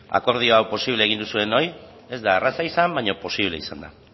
akordio hau posible egin duzuenoi ez da erraza izan baina posible izan da